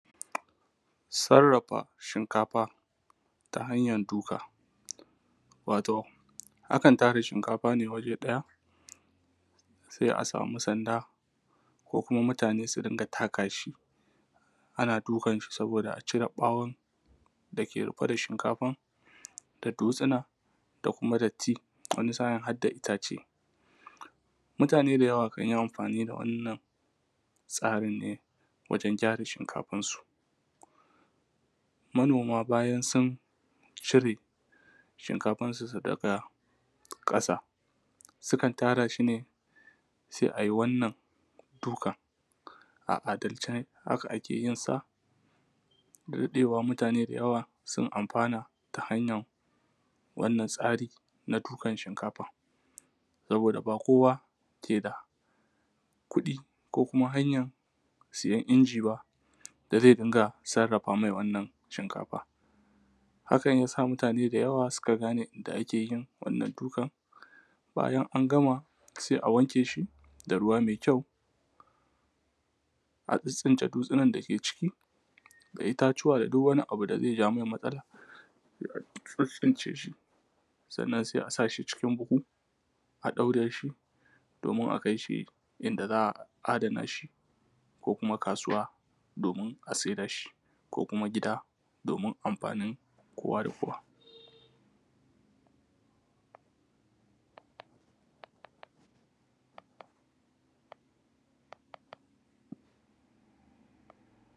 Sarrafa shinkafa ta hanyar duka. Wato akan tara shinkafa ne waje ɗaya, sai a samu sanda ko kuma mutane su rinƙa taka shi. Ana dukan shi sabida acire ɓawon da ke rufe da shinkafar, da dutsuna da kuma datti, wani sa’in kuma harda itace. Mutane da yawa kan yi amfani da wannan tsarin ne wajen gyara shinkafar su. Manoma bayan sun cire shinkafar su daga ƙasa, sukan tara shi ne sai ayi wannan dukan, a al’adance haka ake yin sada daɗewa mutane da yawa sun amfana ta hanyan wannan tsari na dukan shinkafar, saboda ba kowa keda kuɗi ba ko hanyan siyan inji ba da zai rinƙa sarrafa mai wannan shinkafar. Hakan yasa mutane da yawa suka gane inda ake yin wannan dukan, bayan an gama sai a wanke shi da ruwa mai kyau, a tsintsince dutsinan da suke ciki da itacuwa da duk wani abun da zai ja mai matsala a tsintsince shi, sannan sai a shi cikin buhu, a ɗaure shi domin a kai shi inda za a adana shi ko kuma kasuwa a sai da shi ko kuma gida domin amfanin kowa da kowa.